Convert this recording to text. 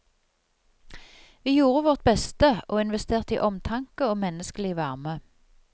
Vi gjorde vårt beste og investerte i omtanke og menneskelig varme.